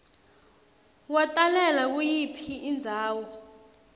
watalelwa kuyiphi indzawo